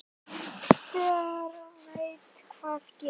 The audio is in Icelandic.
Hver veit hvað gerist?